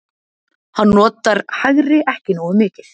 Hann notar hægri ekki nógu mikið.